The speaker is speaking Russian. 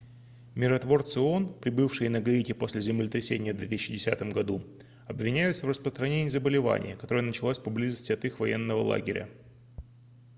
миротворцы оон прибывшие на гаити после землетрясения в 2010 году обвиняются в распространении заболевания которое началось поблизости от их военного лагеря